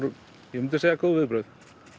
ég myndi segja góð viðbrögð